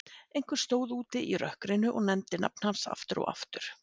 Einhver stóð úti í rökkrinu og nefndi nafn hans aftur og aftur.